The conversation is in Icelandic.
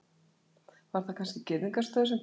Var það kannski girðingarstaur sem gekk frá henni.